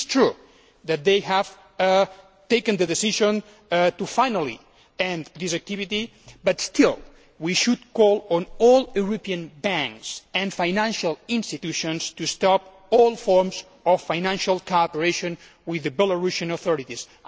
It is true that they have taken the decision to finally end this activity, but still we should call on all European banks and financial institutions to stop all forms of financial cooperation with the Belarusian authorities.